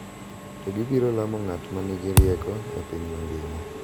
To gibiro lamo ng’at ma nigi rieko e piny mangima.